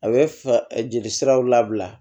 A bɛ jeli siraw labila